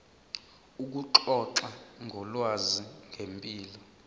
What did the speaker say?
ukuxoxa ngolwazi ngempilo